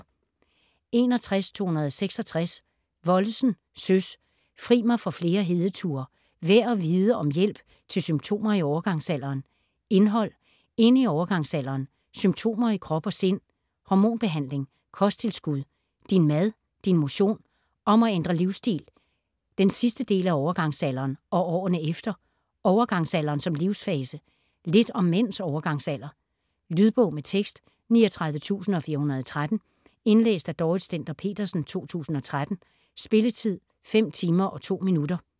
61.266 Wollesen, Søs: Fri mig for flere hedeture: værd at vide om hjælp til symptomer i overgangsalderen Indhold: Ind i overgangsalderen, Symptomer i krop og sind, Hormonbehandling, Kosttilskud, Din mad, Din motion, Om at ændre livsstil, Den sidste del af overgangsalderen og årene efter, Overgangsalderen som livssfase, Lidt om mænds overgangsalder. Lydbog med tekst 39413 Indlæst af Dorrit Stender-Petersen, 2013. Spilletid: 5 timer, 2 minutter.